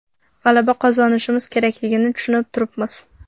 G‘alaba qozonishimiz kerakligini tushunib turibmiz.